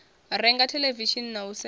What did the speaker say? renga theḽevishini na u sedza